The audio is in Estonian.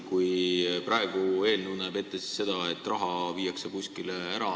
Praegune eelnõu näeb ette seda, et raha viiakse kuskile ära.